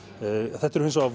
þetta eru hins vegar